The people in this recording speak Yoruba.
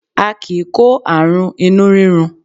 A kì í kó àrùn inú rírun